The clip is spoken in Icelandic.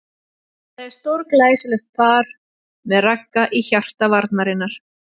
Myndaði stórglæsilegt par með Ragga í hjarta varnarinnar.